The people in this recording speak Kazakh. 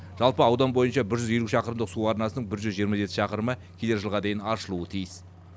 жалпы аудан бойынша бір жүз елу шақырымдық су арнасының бір жүз жиырма жеті шақырымы келер жылға дейін аршылуы тиіс